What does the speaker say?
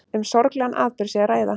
Um sorglegan atburð sé að ræða